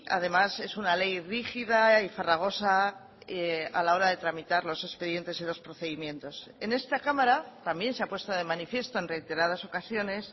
además es una ley rígida y farragosa a la hora de tramitar los expedientes y los procedimientos en esta cámara también se ha puesto de manifiesto en reiteradas ocasiones